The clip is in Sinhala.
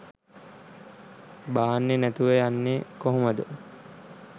බාන්නේ නැතුව යන්නේ කොහොමද